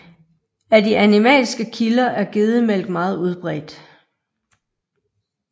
Af de animalske kilder er gedemælk meget udbredt